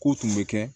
K'o tun bɛ kɛ